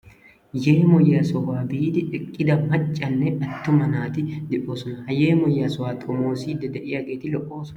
Yeemoyyiyaa sohuwan biidi eqqida maccanne attuma naati de'oosona. Ha yeemoyiyaa sohuwa xommissiyageeti lo''ossona.